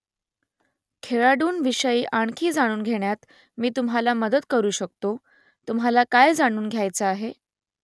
खेळाडूंविषयी आणखी जाणून घेण्यात मी तुम्हाला मदत करू शकतो तुम्हाला काय जाणून घ्यायचं आहे ?